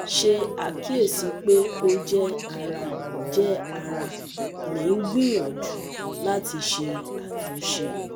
ṣe akiyesi pe o jẹ ara jẹ ara mi n gbiyanju lati ṣe atunṣe